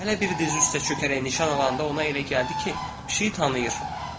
Hələ biri dizi üstə çökərək nişan alanda ona elə gəldi ki, pişiyi tanıyır.